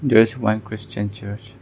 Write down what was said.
There is one christian church.